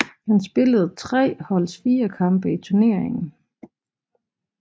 Han spillede tre holdets fire kampe i turneringen